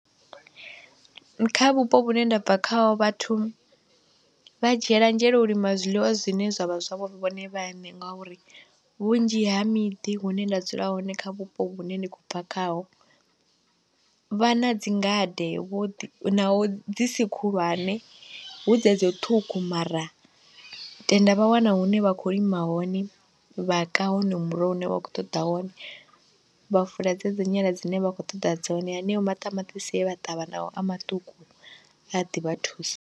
Kha vhupo vhune nda bva khaho vhathu vha dzhiela nzhele u lima zwiḽiwa zwine zwa vha zwavho vhone vhaṋe ngauri, vhunzhi ha miḓi hune nda dzula hone kha vhupo hune ndi khou bva khaho, vha na dzi ngade, vhuḓi naho dzi si khulwane hu dzedzi ṱhukhu mara tenda vha wana hune vha khou lima hone, vha ka honoyo muroho une vha khou ṱoḓa wone, vha fula dze dzi dzinyala dzine vha khou ṱoḓa dzone, haneyo maṱamaṱisi e vha ṱavha naho a maṱuku a ḓi vha thusa.